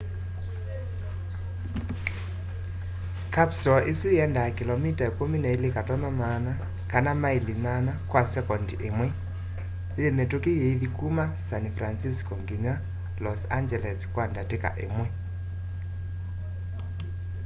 kapsoo isu yiendaa kilomita 12.8 kana maili 8 kwa sekondi imwe yi mitũki yithi kũma san francisco nginya los angeles kwa ndatika imwe